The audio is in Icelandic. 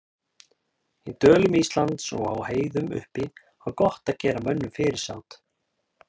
Í dölum Íslands og á heiðum uppi var gott að gera mönnum fyrirsát.